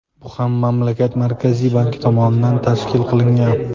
Bu ham mamlakat Markaziy banki tomonidan tashkil qilingan.